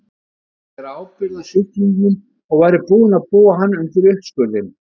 Kvaðst bera ábyrgð á sjúklingnum og væri búinn að búa hann undir uppskurðinn.